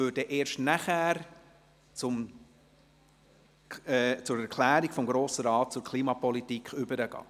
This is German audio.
Erst danach würden wir zur «Erklärung des Grossen Rates zur Klimapolitik» übergehen.